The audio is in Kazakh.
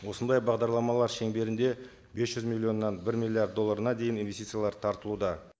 осындай бағдарламалар шеңберінде бес жүз миллионнан бір миллиард долларына дейін инвестициялар тартылуда